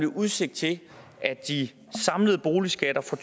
udsigt til at de samlede boligskatter for